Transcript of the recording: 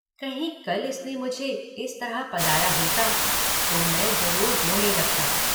कहीं कल इसने मुझे इस तरह पदाया होता तो मैं जरूर रोने लगता।